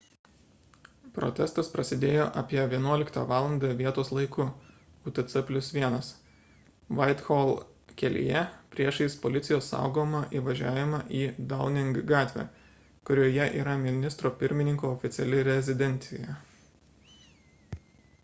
protestas prasidėjo apie 11 val. vietos laiku utc+1 whitehall kelyje priešais policijos saugomą įvažiavimą į downing gatvę kurioje yra ministro pirmininko oficiali rezidencija